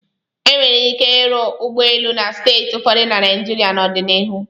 E nwere ike ịrụ ụlọ ụgbọelu na steeti ụfọdụ na Naịjirịa n'ọdịnihu.